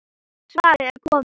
Svarið er komið.